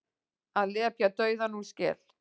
Að lepja dauðann úr skel